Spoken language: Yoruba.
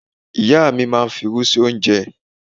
Ìyá mi máa ń fi'rú sí oúnjẹ.